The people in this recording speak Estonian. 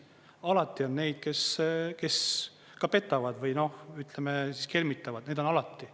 Alati on neid, kes petavad või, noh, ütleme kelmitavad, neid on alati.